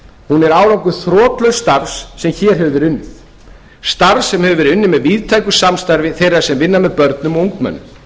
hún er árangur þrotlauss starfs sem hér hefur verið unnið starfs sem hefur verið unnið með víðtæku samstarfi þeirra sem vinna með börnum og ungmennum